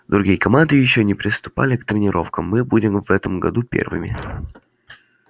другие команды ещё и не приступали к тренировкам мы будем в этом году первыми